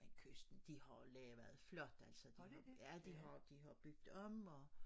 Men Kysten de har lavet flot altså ja de har de har bygget om og